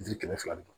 Jiri kɛmɛ fila ni